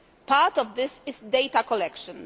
Part of this is data collection